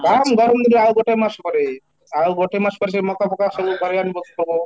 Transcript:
ବାରମ୍ବାର ଗୋଟେ ଆଉ ଗୋଟେ ମାସ ପରେ, ଆଉ ଗୋଟେ ମାସ ପରେ ସେଇ ମକା ଫକା ସବୁ ଘରେ ପଡିବ